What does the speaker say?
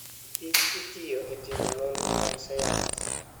kich itiyo e timo nonro mag sayans.